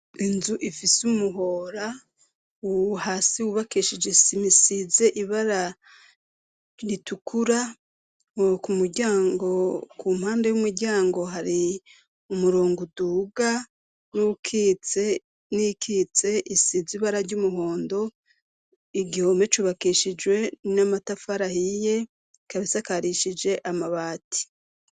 Inzu ifise umuhora uwu hasi wubakesheje sima isize ibara ritukura woka muryango ku mpanda y'umuryango hari umurongo uduga n'ukite n'ikitse isize ibara ry'umuhondo igihome c'ubakeseae shijwe n'amatafarahiye kabisakarishije amabati.